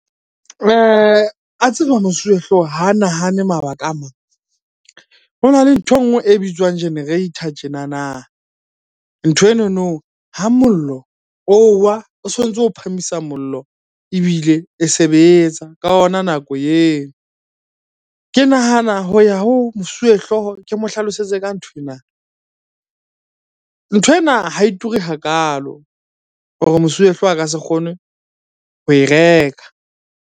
A tseba mosuwehlooho ho nahane mabaka a mang. Ho na le nthwe nngwe e bitswang generator tjenana. Nthwenono ha mollo o wa, o so ntso o phahamisa mollo ebile e sebetsa ka ona nako eo. Ke nahana ho ya ho mosuwehlooho ke mo hlalosetse ka nthwena. Nthwena ha e ture hakalo hore mosuwehlooho a ka se kgone ho e reka.